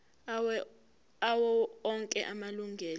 awo onke amalunga